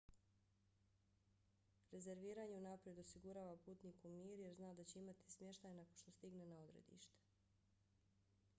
rezerviranje unaprijed osigurava putniku mir jer zna da će imati smještaj nakon što stigne na odredište